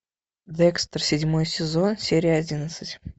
декстер седьмой сезон серия одиннадцать